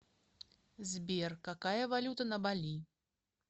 сбер какая валюта на бали